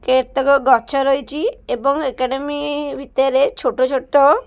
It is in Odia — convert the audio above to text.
ଏତକ ଗଛ ରହିଚି ଏବଂ ଏକାଡେମୀ ଭିତରେ ଛୋଟ ଛୋଟ --